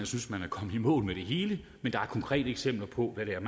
synes man er kommet i mål med det hele men der er konkrete eksempler på hvad det er